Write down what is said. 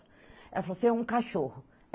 Ela falou assim, é um cachorro.